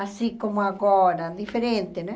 assim como agora, diferente, né?